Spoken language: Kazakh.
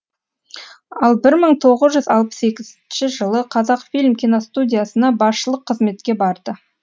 ал бір мың тоғыз жүз алпыс екінші жылы қазақфильм киностудиясына басшылық қызметке барды